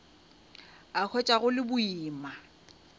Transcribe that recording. a hwetša go le boima